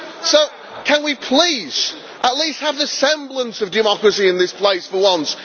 So can we please at least have the semblance of democracy in this place for once?